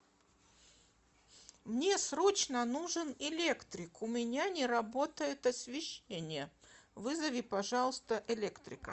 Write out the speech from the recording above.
мне срочно нужен электрик у меня не работает освещение вызови пожалуйста электрика